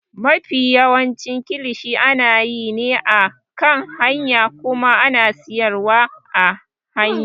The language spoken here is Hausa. Mafi yawancin kilishi ana yi ne a kan hanya kuma a siyar a hanya.